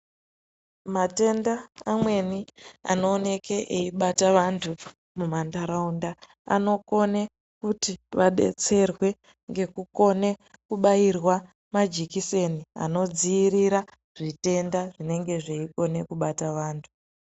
Matenda amweni anooneke eibate vantu mumanharaunda anokone kuti vadetserwe ngekukone kubairwa majekiseni anodziirira zvitenda zvinengee zveikone kubata vantu.